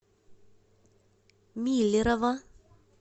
миллерово